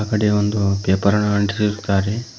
ಕಡೆ ಒಂದು ಪೇಪರ್ ನ ಅಂಟಿಸಿರುತ್ತಾರೆ.